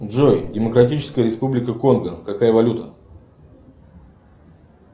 джой демократическая республика конго какая валюта